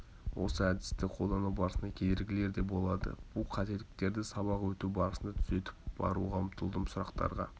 осы әдісті қолдану барысында кедергілер де болды бұл қателіктерді сабақ өту барысында түзетіп баруға ұмтылдым сұрақтарға